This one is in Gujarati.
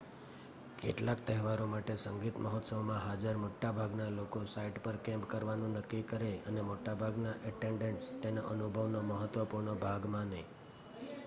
કેટલાક તહેવારો માટે સંગીત મહોત્સવમાં હાજર મોટા ભાગના લોકો સાઇટ પર કેમ્પ કરવાનું નક્કી કરે, અને મોટાભાગના એટેન્ડન્ટ્સ તેને અનુભવનો મહત્વપૂર્ણ ભાગ માને